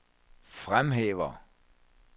fremhæver